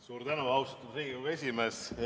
Suur tänu, austatud Riigikogu esimees!